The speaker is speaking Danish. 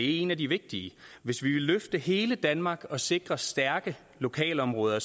en af de vigtige hvis vi vil løfte hele danmark og sikre stærke lokalområder